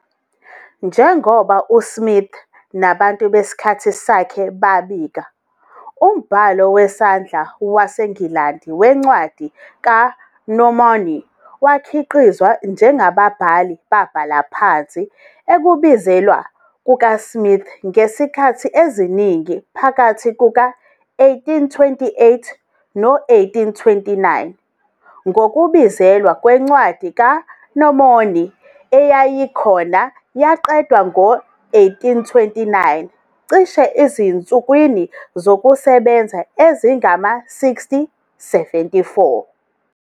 Njengoba uSmith nabantu besikhathi sakhe babika, umbhalo wesandla waseNgilandi weNcwadi kaMormoni wakhiqizwa njengababhali babhala phansi ukubizelwa kukaSmith ngezikhathi eziningi phakathi kuka-1828 no-1829,ngokubizelwa kweNcwadi kaMormoni eyayikhona yaqedwa ngo-1829 cishe ezinsukwini zokusebenza ezingama-60-74.